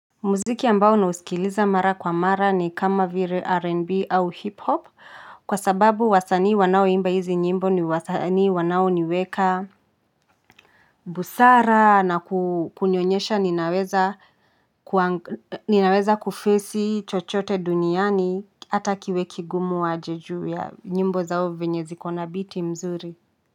Muziki ambao nausikiliza mara kwa mara ni kama vile rnb au hip hop kwa sababu wasanii wanaoimba hizi nyimbo ni wasanii wanaoniweka busara na kunionyesha ninaweza ninaweza kufesi chochote duniani ata kiwe kigumu aje ju ya nyimbo zao venye ziko na biti mzuri.